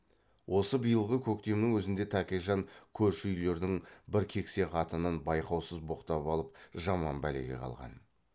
осы биылғы көктемнің өзінде тәкежан көрші үйлердің бір кексе қатынын байқаусыз боқтап алып жаман бәлеге қалған